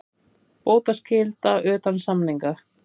Bótaskylda utan samninga.